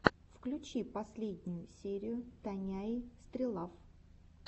включи последнюю серию таняи стрелав